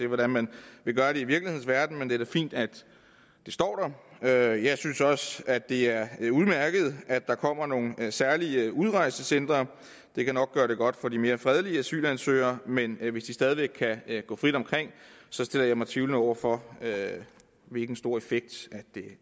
hvordan man vil gøre det i virkelighedens verden men det er da fint at det står der jeg synes også at det er udmærket at der kommer nogle særlige udrejsecentre det kan nok gøre det godt for de mere fredelige asylansøgere men hvis de stadig væk kan gå frit omkring stiller jeg mig tvivlende over for hvilken stor effekt